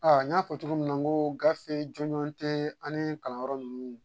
A n y'a fɔ cogo min ko gafe jɔnjɔn tɛ ani kalanyɔrɔ ninnu.